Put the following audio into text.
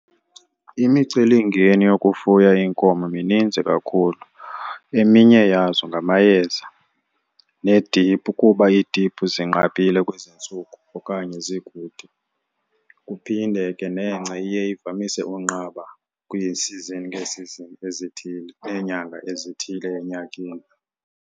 Imicelimngeni yokufuya iinkomo mininzi kakhulu. Eminye yazo ngamayeza neediphu kuba iidiphu zinqabile kwezintsuku okanye zikude. Kuphinde ke nengca iye ivamise unqaba kwi-season ngee-season ezithile neenyanga ezithile enyakeni.